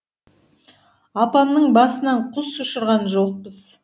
апамның басынан құс ұшырған жоқпыз